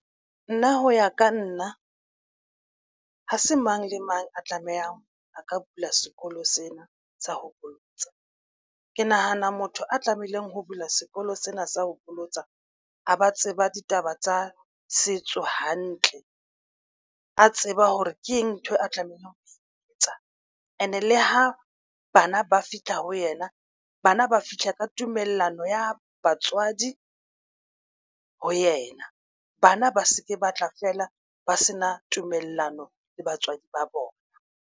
Nna ho ya ka nna ha se mang le mang a tlamehang a ka bula sekolo sena sa ho bolotsa ke nahana motho a tlamehileng ho bula sekolo sena sa ho bolotsa. A ba tseba ditaba tsa setso hantle a tseba hore ke eng ntho eo a tlamehang ho etsa. And-e le ho bana ba fihla ho yena bana ba fihla ka tumellano ya batswadi ho yena bana ba se ke batla fela ba se na tumellano le batswadi ba bona.